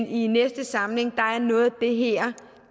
i næste samling